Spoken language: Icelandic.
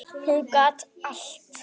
Hún gat allt.